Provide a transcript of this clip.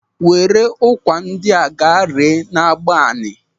Were ụkwa ndị a ga ree n'Agbani!